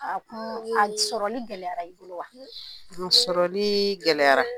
A kun a sɔrɔli gɛlɛyara i bolo wa, a sɔrɔli gɛlɛyara